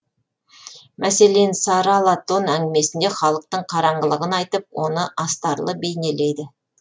мәселен сары ала тон әңгімесінде халықтың қараңғылығын айтып оны астарлы бейнелейді